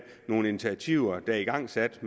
nogle initiativer der er igangsat af